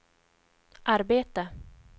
arbete